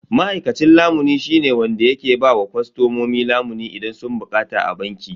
Ma'aikacin lamuni shine wanda yake ba wa kostomomi lamuni idan sun bukata a banki.